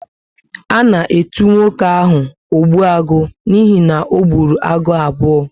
A na etu nwoke ahu 'Ogbuagu' n'ihi na ọ ogburu agụ abuo